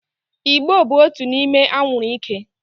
Ị̀gbò bụ otu n'ime anwụrụ ike.